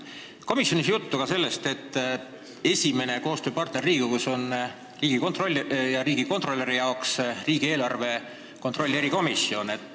Komisjonis oli juttu ka sellest, et Riigikontrolli esimene koostööpartner on Riigikogu ja riigikontrolöri jaoks riigieelarve kontrolli erikomisjon.